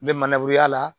N bɛ mangoroya la